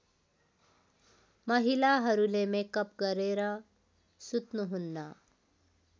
महिलाहरूले मेकअप गरेर सुत्नुहुन्न